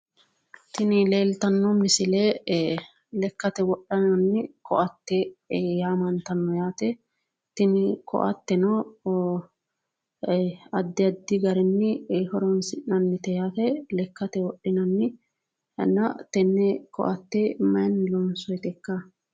Tini leeltanno misile lekkate wodhinanni koatte yaamantanno yaate. Tini koatteno addi addi garinni horoonsi'nannite yaate. Lekkate wodhinanni inna tenne koatte mayinni loonsoyitekka?